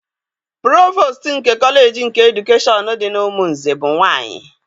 Provostu nke kọleji nke edukeshọn dị n'Umunze bụ nwaanyị.